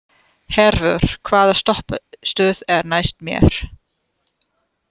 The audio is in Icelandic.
Hervör, hvaða stoppistöð er næst mér?